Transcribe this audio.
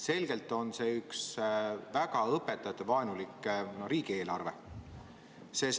See on selgelt üks väga õpetajavaenulik riigieelarve.